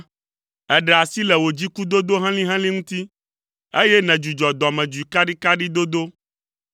Èɖe asi le wò dzikudodo helĩhelĩ ŋuti eye nèdzudzɔ dɔmedzoe kaɖikaɖi dodo.